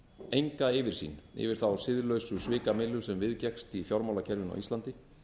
enga yfirsýn yfir hina siðlausu svikamyllu sem viðgekkst í fjármálakerfinu á íslandi